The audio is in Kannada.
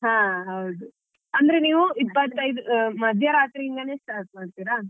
ಹಾ ಹೌದು. ಅಂದ್ರೆ ನೀವ್ ಇಪ್ಪತೈದ್ ಮಧ್ಯ ರಾತ್ರಿ ಇಂದನೆ start ಮಾಡ್ತೀರಾ?